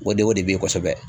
O de o de be kosɛbɛ.